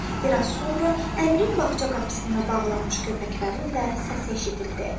Bir az sonra Əmirin bağça qapısında bağlanmış köpəklərin də səsi eşidildi.